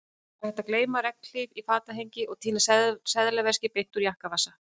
Það er hægt að gleyma regnhlíf í fatahengi og týna seðlaveski úr jakkavasa